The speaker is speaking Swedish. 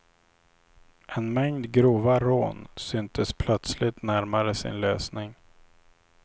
En mängd grova rån syntes plöstligt närmare sin lösning.